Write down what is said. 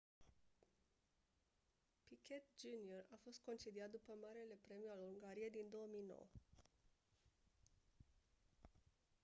piquet jr a fost concediat după marele premiu al ungariei din 2009